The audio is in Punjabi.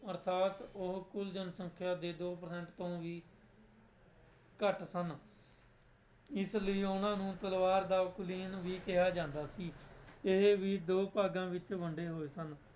ਅਰਥਾਤ ਉਹ ਕੁੱਲ ਜਨਸੰਖਿਆ ਦੇ ਦੋ percent ਤੋਂ ਵੀ ਘੱਟ ਸਨ ਇਸ ਲਈ ਉਹਨਾਂ ਨੂੰ ਤਲਵਾਰ ਦਾ ਕੁਲੀਨ ਵੀ ਕਿਹਾ ਜਾਂਦਾ ਸੀ ਇਹ ਵੀ ਦੋ ਭਾਗਾਂ ਵਿੱਚ ਵੰਡੇ ਹੋਏ ਸਨ।